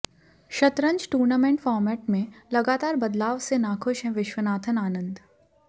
शतरंज tournament format में लगातार बदलाव से नाखुश हैं विश्वनाथन आनंद